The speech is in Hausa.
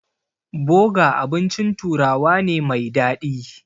Boga abincin turawa ne mai daɗi.